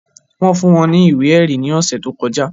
Wọ́n fún wọn ní ìwé ẹ̀rí ní ọ̀sẹ̀ tí ó kọjá